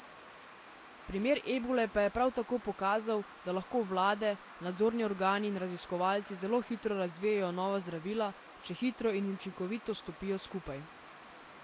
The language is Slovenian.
Primer ebole pa je prav tako pokazal, da lahko vlade, nadzorni organi in raziskovalci zelo hitro razvijejo nova zdravila, če hitro in učinkovito stopijo skupaj.